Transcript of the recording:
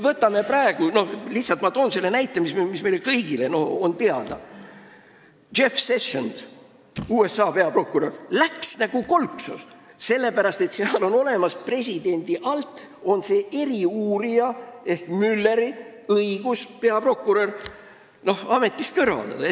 Ma toon lihtsalt selle näite, mis meile kõigile teada on: USA peaprokurör Jeff Sessions läks nagu kolksus, sellepärast et presidendi alluvusse kuuluv eriuurija Mueller sai õiguse peaprokurör ametist kõrvaldada.